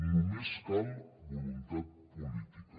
només cal voluntat política